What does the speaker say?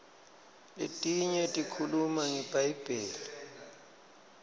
letinye tikhuluma ngebhayibheli